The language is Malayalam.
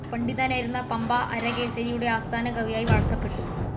പണ്ഡിതനായിരുന്ന പമ്പ അരികേസരിയുടെ ആസ്ഥാനകവിയായി വാഴ്ത്തപ്പെട്ടു.